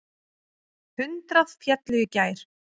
Hundrað féllu í gær.